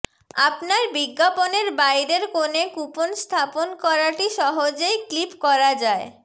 আপনার বিজ্ঞাপনের বাইরের কোণে কুপন স্থাপন করাটি সহজেই ক্লিপ করা যায়